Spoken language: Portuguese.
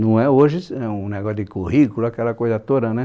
Não é hoje, não um negócio de currículo, aquela coisa toda, né?